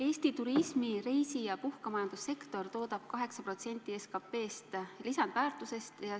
Eesti turismi-, reisi- ja puhkemajandussektor toodab 8% SKP-st, lisandväärtusest.